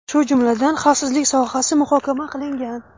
shu jumladan xavfsizlik sohasi muhokama qilingan.